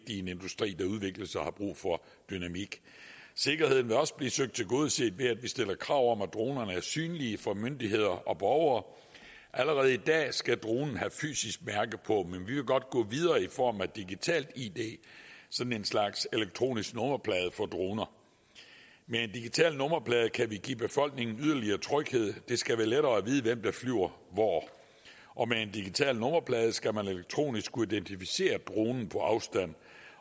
i en industri der udvikler sig og som har brug for dynamik sikkerheden vil også blive søgt tilgodeset ved at vi stiller krav om at dronerne er synlige for myndigheder og borgere allerede i dag skal dronen have et fysisk mærke på men vi vil godt gå videre i form af en digital id sådan en slags elektronisk nummerplade for droner med en digital nummerplader kan vi give befolkningen en yderligere tryghed det skal være lettere at vide hvem der flyver hvor og med en digital nummerplade skal man elektronisk kunne identificere dronen på afstand